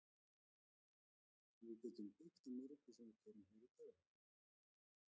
Við getum byggt á mörgu sem við gerum hér í dag.